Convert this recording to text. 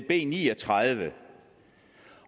b ni og tredive